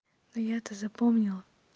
но я это запомнила